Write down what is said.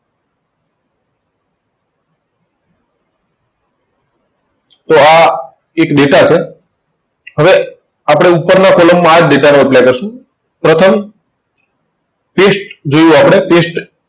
તો આ એક data છે. હવે આપણે ઉપરના column માં આ જ data નો apply કરશું, પ્રથમ paste જેવું આપણે paste,